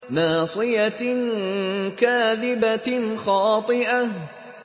نَاصِيَةٍ كَاذِبَةٍ خَاطِئَةٍ